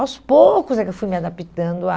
Aos poucos é que eu fui me adaptando a...